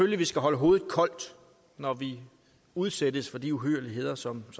vi skal holde hovedet koldt når vi udsættes for de uhyrligheder som